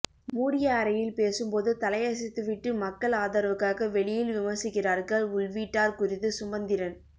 மூடிய அறையில் பேசும்போது தலையசைத்துவிட்டு மக்கள் ஆதரவுக்காக வெளியில் விமர்சிக்கிறார்கள் உள்வீட்டார் குறித்து சுமந்திரன்